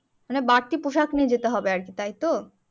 মানে বাড়তি পোশাক নিয়ে যেতে হবে আরকি তাই তো